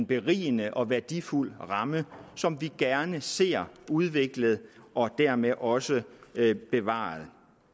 berigende og værdifuld ramme som vi gerne ser udviklet og dermed også bevaret